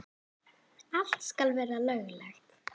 Allt skal vera löglegt.